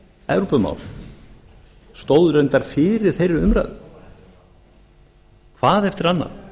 evrópumál stóð reyndar fyrir þeirri umræðu hvað eftir annað